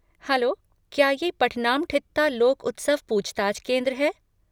Hello, क्या ये पठनामठित्ता लोक उत्सव पूछताछ केंद्र है?